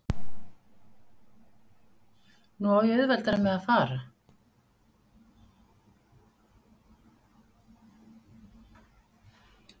Nú á ég auðveldara með að fara.